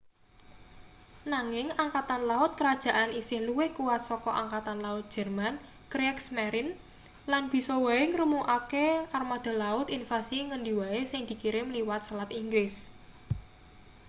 nanging angkatan laut kerajaan isih luwih kuwat saka angkatan laut jerman kriegsmarine” lan bisa wae ngremukake armada laut invasi ngendi wae sing dikirim liwat selat inggris